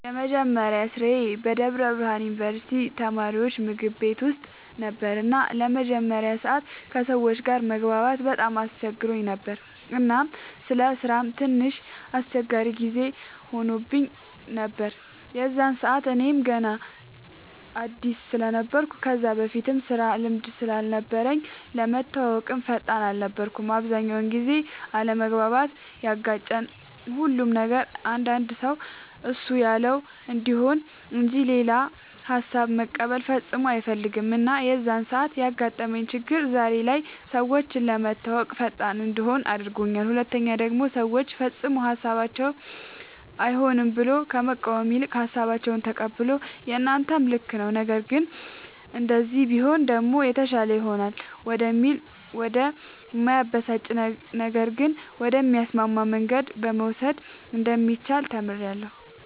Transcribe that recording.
የመጀመሪያ ስራዬ በደብረ ብርሃን ዩንቨርስቲ የተማሪወች ምግብ ቤት ውስጥ ነበር እና ለመጀመሪያ ሰዓት ከሰወች ጋር መግባባት በጣም አስቸግሮኝ ነበር እናም ለስራም ትንሽ አስቸጋሪ ጊዜ ሆኖብኝ ነበር የዛን ሰዓት እኔም ገና አድስ ስለነበርኩ ከዛ በፊትም የስራ ልምድም ስላልነበረኝ ለመተወወቅም ፈጣን አልነበርኩም። አብዛኛውን ጊዜም አለመግባባት ያጋጨን ሁሉ ነበር አንዳንድ ሰው እሱ ያለው እንዲሆን እንጅ ሌላ ሃሳብ መቀበል ፈፅሞ አይፈልግም እና የዛን ሰዓት ያጋጠመኝ ችግር ዛሬ ላይ ሰወችን ለመተወወቅ ፈጣን እንድሆን አድርጎኛል ሁለተኛ ደሞ ሰወችን ፈፅሞ ሀሳባቸውን አይሆንም ብሎ ከመቃወም ይልቅ ሃሳባቸውን ተቀብሎ የናንተም ልክ ነዉ ነገር ግን እንደዚህ ቢሆን ደሞ የተሻለ ይሆናል ወደሚል ወደ እማያበሳጭ ነገር ግን ወደሚያስማማ መንገድ መውሰድ እንደሚቻል ተምሬበታለሁ።